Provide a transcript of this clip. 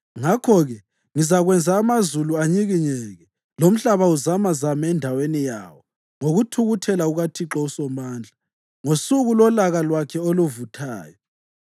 Ngakho-ke ngizakwenza amazulu anyikinyeke; lomhlaba uzamazame endaweni yawo ngokuthukuthela kukaThixo uSomandla, ngosuku lolaka lwakhe oluvuthayo.